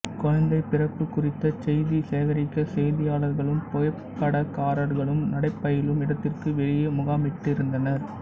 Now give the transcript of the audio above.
குழந்தை பிறப்பு குறித்த செய்தி சேகரிக்க செய்தியாளர்களும் புகைப்படக்காரர்களும் நடைபயிலும் இடத்திற்கு வெளியே முகாமிட்டிருந்தனர்